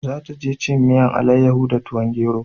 Za ta je cin miyan alayaho da tuwon gero